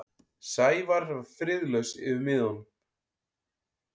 Sævar var friðlaus yfir miðanum.